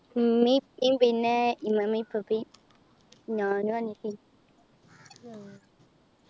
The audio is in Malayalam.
ഉമ്മയും ഉപ്പയും പിന്നെ ഇമ്മാമ്മയും ഇപ്പപ്പയും ഞാനും അനിയത്തിയും